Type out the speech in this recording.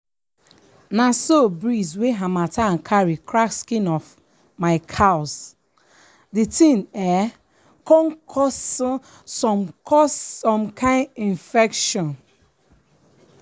na so breeze wey harmattan carry crack skin of my cows the thing um con cause um some cause um some kain infection.